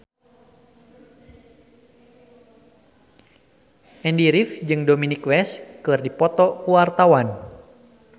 Andy rif jeung Dominic West keur dipoto ku wartawan